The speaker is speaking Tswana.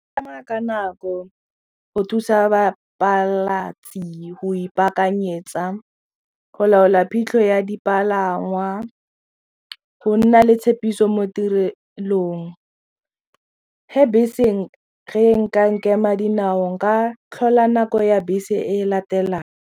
Ka tsamaya ka nako go thusa go ipakanyetsa go laola phitlho ya dipalangwa go nna le tshepiso mo tirelong ge bese ge e ka nkema dinao nka tlhola nako ya bese e latelang.